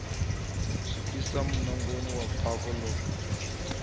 swikisa munangoni wa bako ḽe